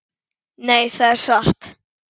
Nei, það er satt.